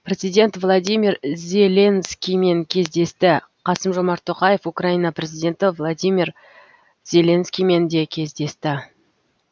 президент владимир зеленскиймен кездесті қасым жомарт тоқаев украина президенті владимир зеленскиймен де кездесті